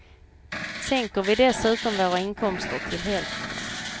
Sänker vi dessutom våra inkomster till hälften.